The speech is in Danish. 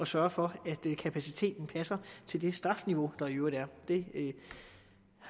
sørge for at kapaciteten passer til det strafniveau der i øvrigt er det